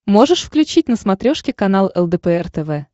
можешь включить на смотрешке канал лдпр тв